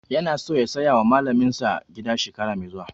Yana so ya saya wa malamin sa ƙaramin gida shekara mai zuwa